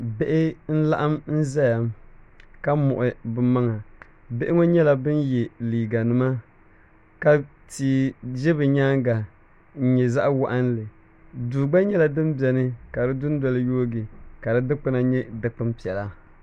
Bihi n laɣim zaya ka muɣi bɛ maŋa bihi ŋɔ nyɛla ban ye liiga nima ka tia ʒi bɛ nyaaga n nyɛ zaɣa waɣinli duu gba nyɛla din beni ka dindoli yoogi ka di dikpuna nyɛ dikpun piɛlli